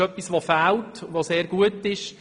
Das ist etwas, das fehlt und sehr gut ist.